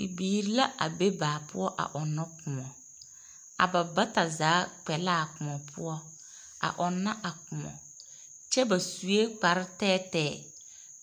Bibiiri la a be baa poɔ a ɔnnɔ kõɔ. A bata zaa kpɛ a kõɔ poɔ a ɔnnɔ a kõɔ. kyɛ ba sue kpare tɛɛtɛɛ.